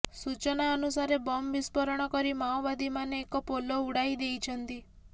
ସୂଚନା ଅନୁସାରେ ବମ୍ ବିଷ୍ପୋରଣ କରି ମାଓବାଦୀମାନେ ଏକ ପୋଲ ଉଡ଼ାଇ ଦେଇଛନ୍ତି